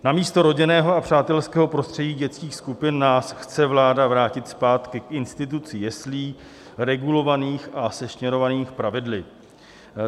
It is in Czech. Namísto rodinného a přátelského prostředí dětských skupin nás chce vláda vrátit zpátky k institucí jeslí regulovaných a sešněrovaných pravidly.